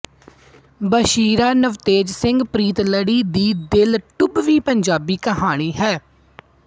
ਬਸ਼ੀਰਾ ਨਵਤੇਜ ਸਿੰਘ ਪ੍ਰੀਤਲੜੀ ਦੀ ਦਿਲ ਟੁੰਬਵੀਂ ਪੰਜਾਬੀ ਕਹਾਣੀ ਹੈ